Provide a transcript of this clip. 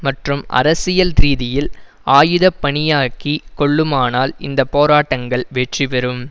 மற்றும் அரசியல் ரீதியில் ஆயுதபாணியாக்கி கொள்ளுமானால் இந்த போராட்டங்கள் வெற்றி பெறும்